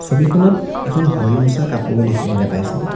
ছবিখনত এখন ভৰিমুচা কাপোৰো দেখিবলৈ পাইছোঁ।